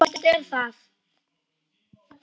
Svona einfalt er það.